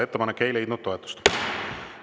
Ettepanek ei leidnud toetust.